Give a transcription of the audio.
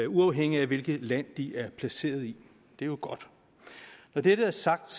uafhængigt af hvilket land de er placeret i det er jo godt når dette er sagt